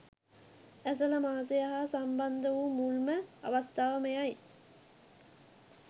ඇසළ මාසය හා සම්බන්ධ වූ මුල්ම අවස්ථාව මෙයයි.